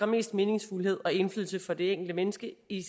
mest meningsfuldhed og indflydelse for det enkelte menneske i